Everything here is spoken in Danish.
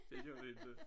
Det gør vi inte